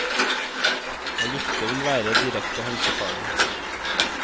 Å lufte vil være direkte helsefarlig.